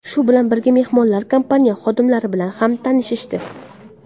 Shu bilan birga mehmonlar kompaniya xodimlari bilan ham tanishishdi.